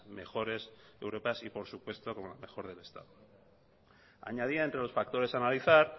mejores europeas y por supuesto como la mejor del estado añadía entre los factores a analizar